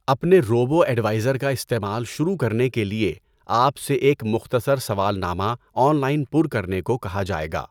اپنے robo advisor کا استعمال شروع کرنے کے لیے، آپ سے ایک مختصر سوالنامہ آن لائن پُر کرنے کو کہا جائے گا۔